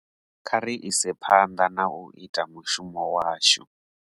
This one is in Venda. Kha ri ise phanḓa na u ita mushumo washu.